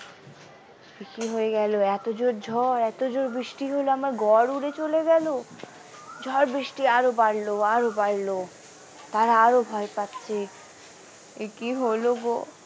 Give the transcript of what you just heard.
এ কি হয়ে গেল এত জোর ঝড় এত জোর বৃষ্টি হলো আমার ঘর উড়ে চলে গেল ঝড় বৃষ্টি আরো বাড়লো আরো বাড়লো তারা আরো ভয় পাচ্ছে এ কি হলো গো।